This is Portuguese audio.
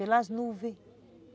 Pelas nuvens.